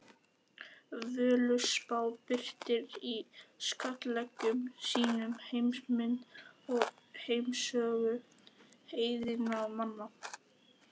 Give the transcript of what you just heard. Völuspá birtir í skáldlegum sýnum heimsmynd og heimssögu heiðinna manna.